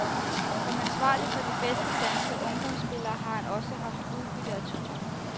Som ansvarlig for de bedste danske ungdomsspillere har han også haft udbytte af turen.